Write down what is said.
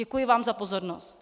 Děkuji vám za pozornost.